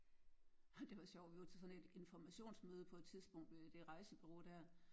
Ha det var sjovt vi var til såden et informationsmøde på et tidspunkt ved det rejsebureau der